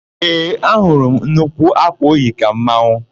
Ee, ahụrụ m nnukwu ákwà o yi ka mmanwụ.